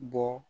Bɔ